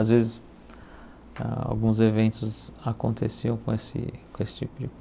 Às vezes alguns eventos aconteciam com esse com esse tipo de